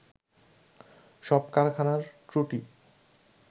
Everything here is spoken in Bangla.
সব কারখানার ত্রুটি